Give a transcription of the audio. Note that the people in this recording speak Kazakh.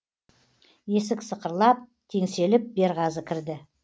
есік сықырлап теңселіп берғазы кірді